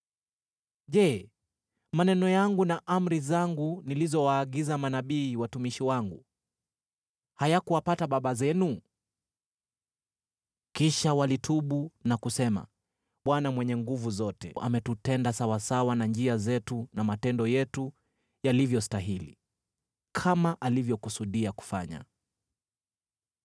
Je, maneno yangu na amri zangu nilizowaagiza manabii watumishi wangu, hayakuwapata baba zenu?” “Kisha walitubu na kusema, ‘ Bwana Mwenye Nguvu Zote ametutenda sawasawa na njia zetu na matendo yetu yalivyostahili, kama alivyokusudia kufanya.’ ”